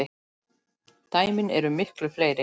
Dæmin eru miklu fleiri.